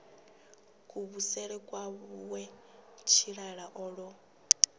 kuvhusele kwawe tshilala o ḓo